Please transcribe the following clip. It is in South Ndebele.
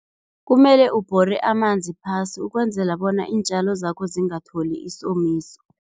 Kumele ubhore amanzi phasi ukwenzela bona iintjalo zakho zingatholi isomiso.